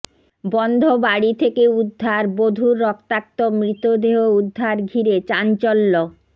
বন্ধ বাড়ি থেকে উদ্ধার বধূর রক্তাক্ত মৃতদেহ উদ্ধার ঘিরে চাঞ্চল্য